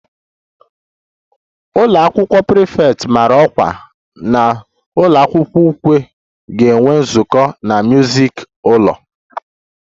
The ụlọ akwụkwọ prefect mara ọkwa na ụlọ akwụkwọ ukwe ga-enwe nzukọ na music ụlọ